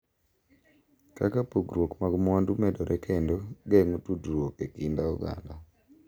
Kaka pogruok mag mwandu medore kendo geng’o tudruok e kind oganda.